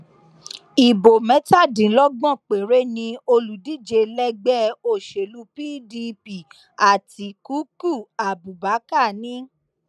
ibo mẹtàdínlọgbọn péré ni olùdíje lẹgbẹ òsèlú pdp àtikukú abubakar ni